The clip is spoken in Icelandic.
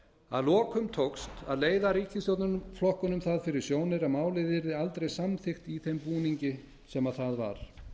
að lokum tókst að leiða ríkisstjórnarflokkunum það fyrir sjónir að málið yrði aldrei samþykkt í þeim búningi sem það var